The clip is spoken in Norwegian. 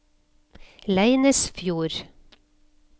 Leinesfjord